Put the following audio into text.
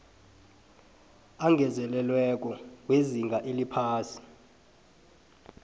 angezelelweko wezinga eliphasi